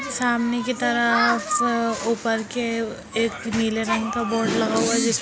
सामने की तरफ ऊपर के एक नीले रंग का बोर्ड लगा हुआ।